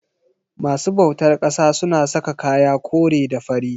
masu bautar ƙasa suna saka kaya kore da fari.